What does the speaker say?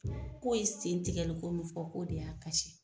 k'o ye sen tigɛli ko min fɔ k'o de y'a kasi.